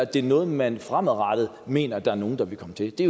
det er noget man fremadrettet mener der er nogen der vil komme til det